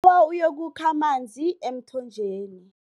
Ngibawa uyokukha amanzi emthonjeni.